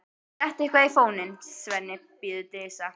Settu eitthvað á fóninn, Svenni, biður Dísa.